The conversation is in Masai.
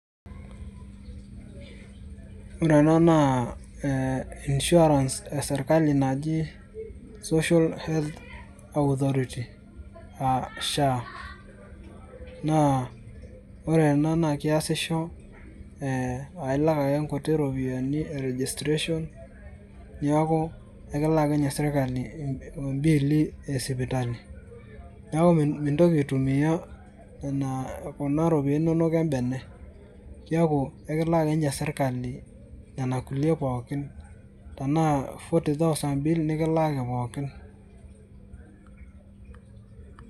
ore ena naa insuirance e sirkali naji social health authority aa SHA naa ore ena naa keesisho ailak ake inkuti ropiyiani e registration neeku ekilak akeninye sirkali imbiili esipitali neeku mintoki aitumiyia nena kuna roipiani inonok embene kiaku ekilak ake ninche sirkali nena kulie pookin tenaa forty thousand bill nikilaaki pookin.